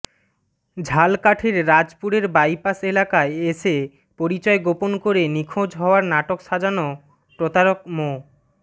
ঝালকাঠির রাজাপুরের বাইপাস এলাকায় এসে পরিচয় গোপন করে নিখোঁজ হওয়ার নাটক সাজানো প্রতারক মো